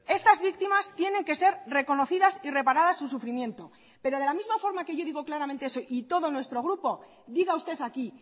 estas víctimas tienen que ser reconocidas y reparadas su sufrimiento pero de la misma forma que yo digo claramente eso y todo nuestro grupo diga usted aquí